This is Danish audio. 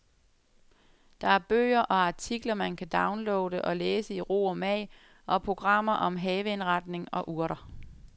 Der er bøger og artikler, man kan downloade og læse i ro og mag, og programmer om haveindretning og urter.